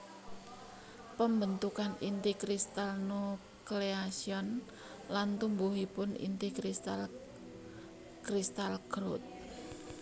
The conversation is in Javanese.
Pembentukan inti kristal nucleation lan tumbuhipun inti kristal crystal growth